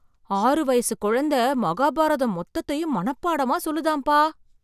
ஆறு வயசு குழந்தை மகாபாரதம் மொத்தத்தையும் மனப்படமா சொல்லுதாம்பா!